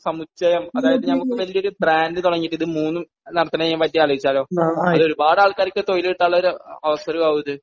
സമുച്ചയം അതായത് നമുക്ക് വല്ല്യ ഒരു ബ്രാൻഡ് തുടങ്ങിയിട്ട് ഇത് മൂന്നും നടത്തണോതിനെപ്പറ്റി ആലോചിച്ചാലോ? അത് ഒരുപാട് ആൾക്കാർക്ക് തൊഴിൽ കിട്ടാനുള്ളൊരു അവസരം ആകുമിത്.